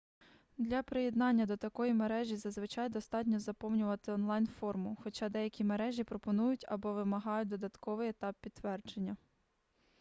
для приєднання до такої мережі зазвичай достатньо заповнити онлайн-форму хоча деякі мережі пропонують або вимагають додатковий етап підтвердження